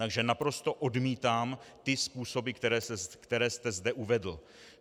Takže naprosto odmítám ty způsoby, které jste zde uvedl.